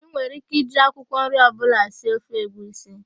Ị nwere íké iji akwụkwọ nri ọbụla sie ofe egwusi.